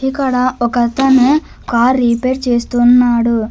ఇకడ ఒక అతను car repair చేస్తున్నాడు.